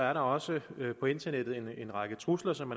er der også på internettet en række trusler som